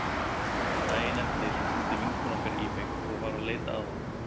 Daginn eftir hringdi vinkona okkar í mig og var að leita að honum.